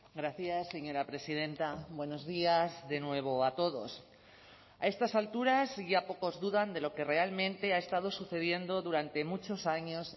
gracias señora presidenta buenos días de nuevo a todos a estas alturas ya pocos dudan de lo que realmente ha estado sucediendo durante muchos años